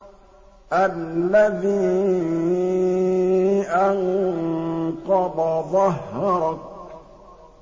الَّذِي أَنقَضَ ظَهْرَكَ